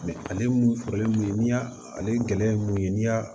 ale mun fɔlen mun n'i y'a ale gɛlɛya ye mun ye n'i y'a